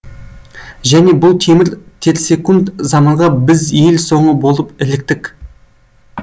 және бұл темір терсек заманға біз ел соңы болып іліктік